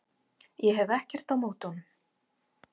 Ég hef ekkert á móti honum.